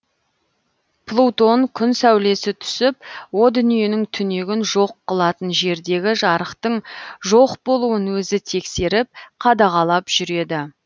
плутон күн сәулесі түсіп о дүниенің түнегін жоқ қылатын жердегі жарықтың жоқ болуын өзі тексеріп қадағалап жүреді